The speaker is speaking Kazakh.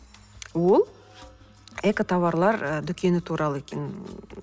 ол экотоварлар ы дүкені туралы екен ммм